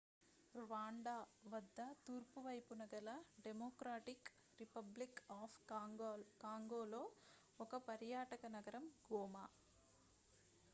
rwanda వద్ద తూర్పు వైపున గల డెమోక్రాటిక్ రిపబ్లిక్ అఫ్ కాంగోలో ఒక పర్యాటక నగరం goma